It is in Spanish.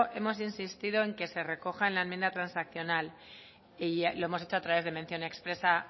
hemos insistido en que se recoja en la enmienda transaccional y lo hemos hecho a través de mención expresa